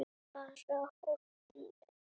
Bara honum.